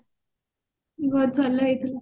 ବହୁତ ଭଲ ହେଇଥିଲା